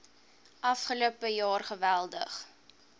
afgelope jaar geweldig